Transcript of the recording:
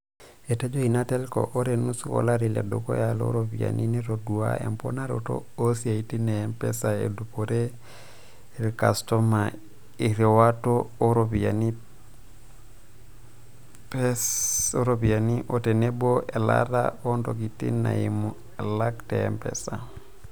Etejo ina telko ore nusu olari ledukuya looropiyiani netodua emponaroto oosiatin e mpesa edupore ilkastoma eriwato oo ropiyiani pesa o tenebo elaata oontokiting eimu alak te Mpesa.